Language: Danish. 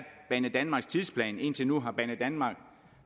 banedanmarks tidsplan indtil nu har banedanmark